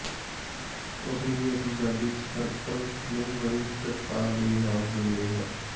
ਉਸ ਲਈ ਅਸੀਂ ਸਾਡੀ ਸਰਕਲ ਨੂੰ ਹਰੀ ਝੱਟਕਾ ਦੇ ਨਾਲ ਗੂੰਜਦੇ ਹਾਂ